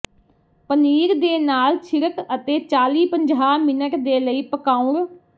ਪਨੀਰ ਦੇ ਨਾਲ ਛਿੜਕ ਅਤੇ ਚਾਲੀ ਪੰਜਾਹ ਮਿੰਟ ਦੇ ਲਈ ਪਕਾਉਣ